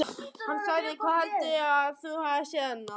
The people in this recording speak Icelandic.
Hann sagði: Hvar heldurðu að þú hafir séð hana?